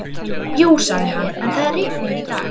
Jú, sagði hann, en það er rigning í dag.